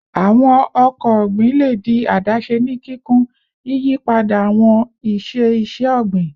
Awọn ọkọ ogbin le di adase ni kikun, yiyipada awọn iṣe iṣẹ-ogbin